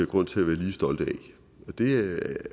grund til at være lige stolte af det